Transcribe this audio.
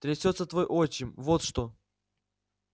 трясётся твой отчим вот что